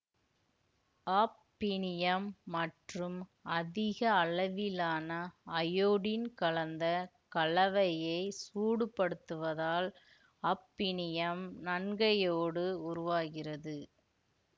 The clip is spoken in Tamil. ஆஃபினியம் மற்றும் அதிக அளவிலான அயோடின் கலந்த கலவையைச் சூடுபடுத்துவதால் ஆஃபினியம் நன்கையோடு உருவாகிறது